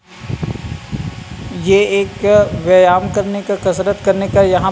यह एक व्यायाम करने का कसरत करने का यहां --